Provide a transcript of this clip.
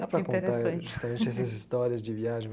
Dá para contar justamente essas histórias de viagem.